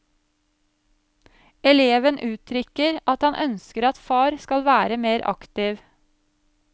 Eleven uttrykker at han ønsker at far skal være mer aktiv.